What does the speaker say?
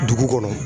Dugu kɔnɔ